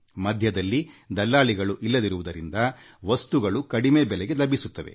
ಮಧ್ಯದಲ್ಲಿ ದಲ್ಲಾಳಿಗಳು ಇಲ್ಲದಿರುವುದರಿಂದ ವಸ್ತುಗಳು ಕಡಿಮೆಬೆಲಾಗೆ ಲಭಿಸುತ್ತವೆ